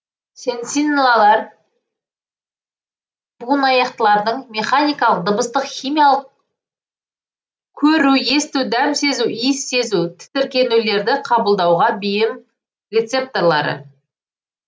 сенсиллалар буынаяқтылардың механикалық дыбыстық химиялық көру есту дәм сезу иіс сезу тітіркенулерді қабылдауға бейім рецепторлары